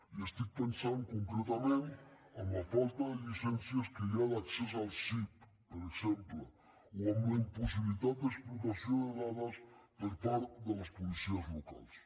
i estic pensant concretament en la falta de llicències que hi ha d’accés al sip per exemple o en la impossibilitat d’explotació de dades per part de les policies locals